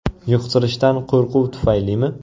Yuqtirishdan qo‘rquv tufaylimi?